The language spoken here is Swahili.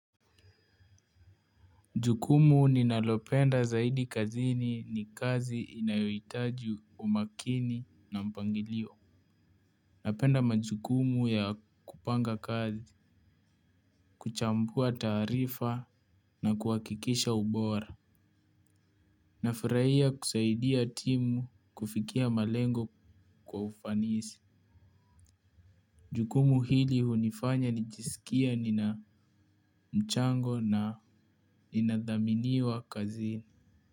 Jukumu ninalopenda zaidi kazini ni kazi inayoitaji umakini na mpangilio. Napenda majukumu ya kupanga kazi, kuchambua taarifa na kuhakikisha ubora. Nafiraia kusaidia timu kufikia malengo kwa ufanisi. Jukumu hili hunifanya nijisikie nina mchango na inadhaminiwa kazini.